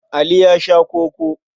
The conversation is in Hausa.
Ali ya sha koko.